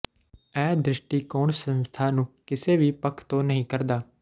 ਇਹ ਦ੍ਰਿਸ਼ਟੀਕੋਣ ਸੰਸਥਾਂ ਨੂੰ ਕਿਸੇ ਵੀ ਪੱਖ ਤੋਂ ਨਹੀਂ ਕਰਦਾ